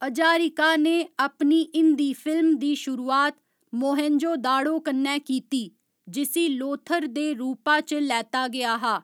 हजारिका ने अपनी हिंदी फिल्म दी शुरुआत मोहेनजोदाड़ो कन्नै कीती, जिसी लोथर दे रूपा च लैता गेआ हा।